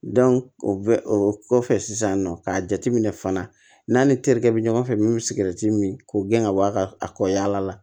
o bɛ o kɔfɛ sisan nɔ k'a jateminɛ fana n'a ni terikɛ bɛ ɲɔgɔn fɛ min bɛ sigɛrɛti min k'o gɛn ka bɔ a ka a kɔ yaala la